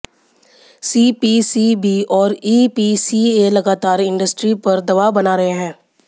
CPCB और EPCA लगातार industry पर दबाव बना रहे हैं